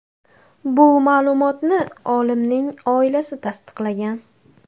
Bu ma’lumotni olimning oilasi tasdiqlagan.